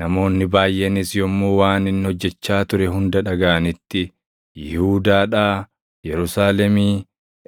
Namoonni baayʼeenis yommuu waan inni hojjechaa ture hunda dhagaʼanitti Yihuudaadhaa, Yerusaalemii,